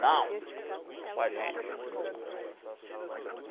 Não, é com a gente.